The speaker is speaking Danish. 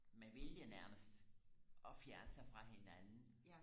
med vilje nærmest og fjerne sig fra hinanden